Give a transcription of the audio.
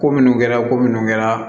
Ko minnu kɛra ko minnu kɛra